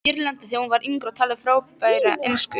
Írlandi þegar hún var yngri og talaði frábæra ensku.